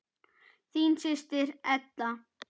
Þín systir, Edda.